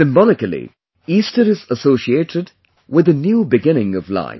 Symbolically, Easter is associated with the new beginning of life